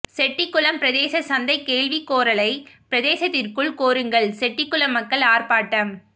செட்டிகுளம் பிரதேச சந்தை கேள்வி கோரலை பிரதேசத்திற்குள் கோருங்கள் செட்டிகுளம் மக்கள் ஆர்ப்பாட்டம்